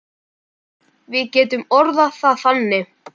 Við getum orðað það þannig.